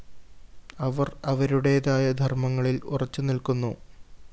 അവര്‍ അവരുടേതായ ധര്‍മങ്ങളില്‍ ഉറച്ചുനില്‍ക്കുന്നു